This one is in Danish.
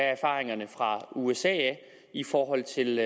erfaringerne fra usa i forhold til